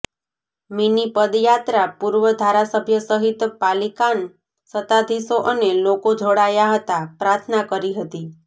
mini પદયાત્રા પૂર્વ ધારાસભ્ય સહિત પાલિકાન સતાધીશો અને લોકો જોડાયા હતા પ્રાર્થના કરી હતી